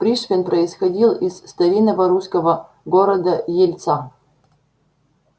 пришвин происходил из старинного русского города ельца